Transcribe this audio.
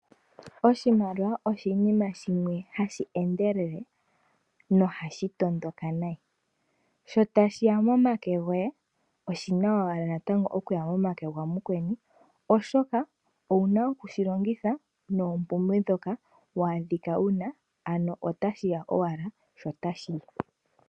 Oshimaliwa oshinima shimwe hashi endelele nohashi tondoka nayi, sho tashiya momake goye oshina owala natango okuya momake gamukweni oshoka ouna okushi longitha noopumbwe dhoka waadhika wuna ano otashiya owala sho otashiyi.